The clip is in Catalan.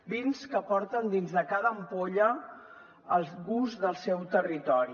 vins que porten dins de cada ampolla el gust del seu territori